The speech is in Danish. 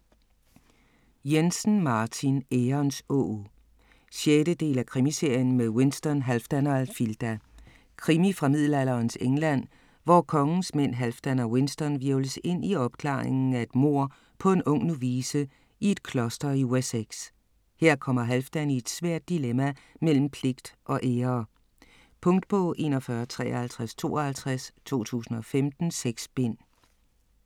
Jensen, Martin: Ærens åg 6. del af Krimiserien med Winston, Halfdan og Alfilda. Krimi fra middelalderens England, hvor kongens mænd Halfdan og Winston hvirvles ind i opklaringen af et mord på en ung novice i et kloster i Wessex. Her kommer Halfdan i et svært dilemma mellem pligt og ære. Punktbog 415352 2015. 6 bind.